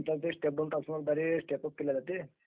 is not clearस्टॅअप केल्या जाते